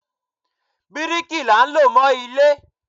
Bíríkì là ló ń mọ ilé.